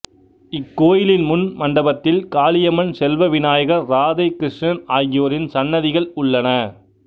இக்கோயிலின் முன் மண்டபத்தில் காளியம்மன் செல்வ விநாயகர் ராதை கிருஷ்ணன் ஆகியோரின் சன்னதிகள் உள்ளன